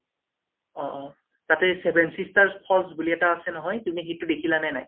তাতে seven sisters falls বুলি আছে নহয়, তুমি সেইটো দেখিলা নে নাই?